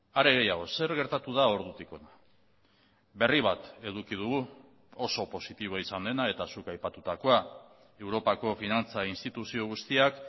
are gehiago zer gertatu da ordutik hona berri bat eduki dugu oso positiboa izan dena eta zuk aipatutakoa europako finantza instituzio guztiak